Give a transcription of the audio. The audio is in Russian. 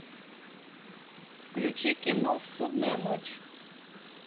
включи кино судная ночь